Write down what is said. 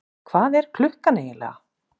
Hvað er klukkan eiginlega?